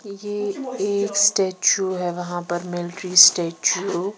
ये एक स्टैचू हैवहां पर मिलट्री स्टैचू .